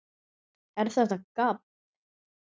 ER ÞETTA GABB?